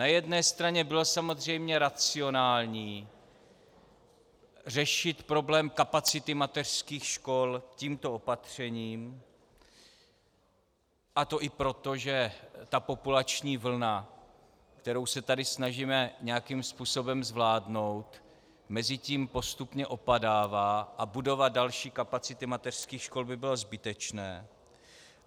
Na jedné straně bylo samozřejmě racionální řešit problém kapacity mateřských škol tímto opatřením, a to i proto, že ta populační vlna, kterou se tady snažíme nějakým způsobem zvládnout, mezitím postupně opadává a budovat další kapacity mateřských škol by bylo zbytečné.